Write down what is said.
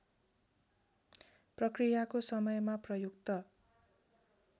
प्रक्रियाको समयमा प्रयुक्त